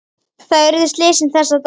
Þar urðu slysin þessa daga.